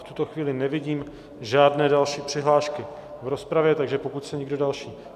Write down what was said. V tuto chvíli nevidím žádné další přihlášky do rozpravy, takže pokud se nikdo další...